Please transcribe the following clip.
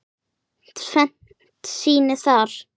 Tvennt sýni það.